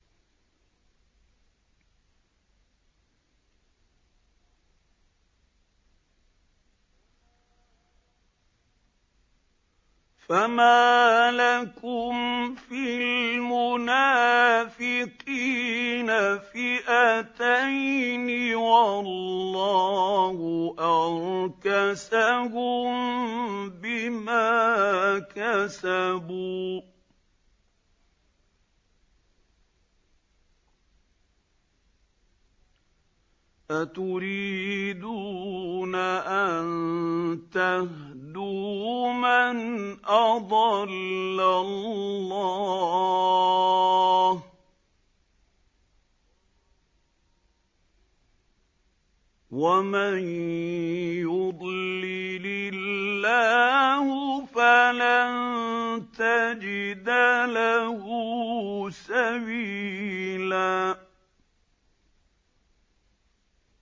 ۞ فَمَا لَكُمْ فِي الْمُنَافِقِينَ فِئَتَيْنِ وَاللَّهُ أَرْكَسَهُم بِمَا كَسَبُوا ۚ أَتُرِيدُونَ أَن تَهْدُوا مَنْ أَضَلَّ اللَّهُ ۖ وَمَن يُضْلِلِ اللَّهُ فَلَن تَجِدَ لَهُ سَبِيلًا